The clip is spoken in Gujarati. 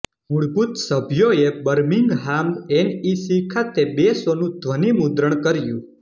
મૂળભૂત સભ્યોએ બર્મિંગહામ એનઇસી ખાતે બે શોનું ધ્વનિમુદ્રણ કર્યું